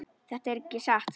Þetta er ekki satt!